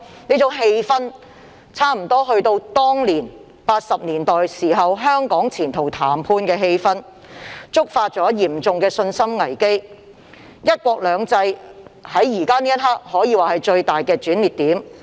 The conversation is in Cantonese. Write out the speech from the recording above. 這種氣氛差不多有如1980年代香港前途談判的氣氛，觸發嚴重的信心危機，"一國兩制"在現時這刻可說是最大的轉捩點。